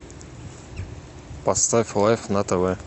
поставь лайф на тв